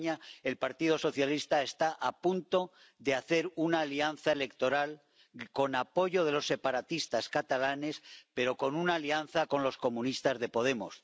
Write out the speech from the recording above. En España el Partido Socialista está a punto de hacer una alianza electoral con apoyo de los separatistas catalanes, pero con una alianza con los comunistas de Podemos.